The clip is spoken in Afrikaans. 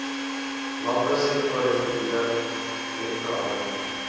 landbousektor reguleer hetverander